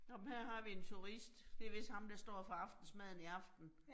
Nåh men her har vi en turist, det vist ham, der står for aftensmaden i aften